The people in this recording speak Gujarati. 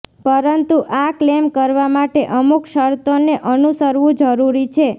પરંતુ આ ક્લેમ કરવા માટે અમુક શરતોને અનુસરવું જરૂરી છે